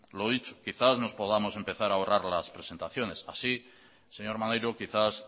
lo dicho quizás nos podamos empezarahorrar las presentaciones así señor maneiro quizás